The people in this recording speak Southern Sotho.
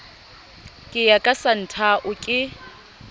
ke ya ka santhao ke